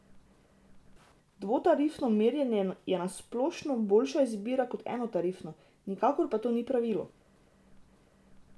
Dvotarifno merjenje je na splošno boljša izbira kot enotarifno, nikakor pa to ni pravilo.